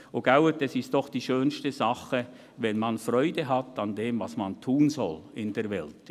Und «es ist doch die schönste Sache, wenn man Freude hat an dem, was man tun soll in der Welt».